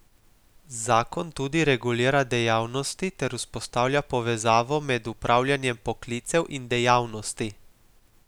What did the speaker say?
Zakon tudi regulira dejavnosti ter vzpostavlja povezavo med upravljanjem poklicev in dejavnosti.